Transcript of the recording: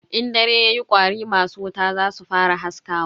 In dare yayi kwari masu wuta zasu fara haskawa.